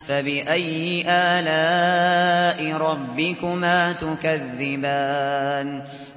فَبِأَيِّ آلَاءِ رَبِّكُمَا تُكَذِّبَانِ